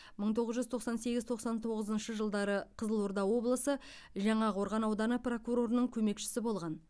мың тоғыз жүз тоқсан сегіз тоқсан тоғызыншы жылдары қызылорда облысы жаңақорған ауданы прокурорының көмекшісі болған